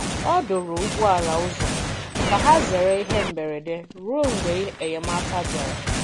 Ọ dòrò̀ ụgbọ̀ala ụzọ ka hà zerè ihe mberede ruo mgbe enyemáka bịara.